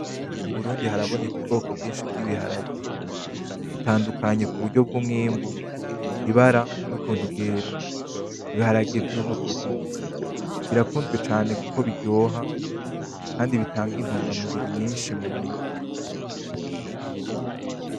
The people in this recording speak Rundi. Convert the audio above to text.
Mu Burundi haraboneka ubwoko bwinshi bw'ibiharage bitadukanye kuburyo bw'umwimbu, ibara nukuntu bwera ibiharage vy'umutuku birakuzwe cane kuko biryoha kandi bitanga intugamubiri nyinshi murya.